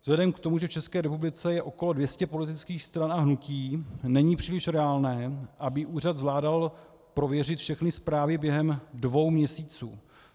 Vzhledem k tomu, že v České republice je okolo 200 politických stran a hnutí, není příliš reálné, aby úřad zvládal prověřit všechny zprávy během dvou měsíců.